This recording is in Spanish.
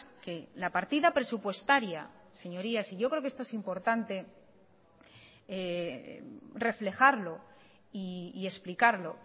que la partida presupuestaria señorías y yo creo que esto es importante reflejarlo y explicarlo